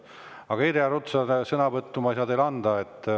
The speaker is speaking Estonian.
Aga Irja Lutsar, sõnavõttu ma ei saa teile anda.